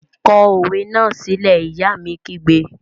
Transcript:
Kọ òwe náà sílẹ́! Ìyá mi kígbe!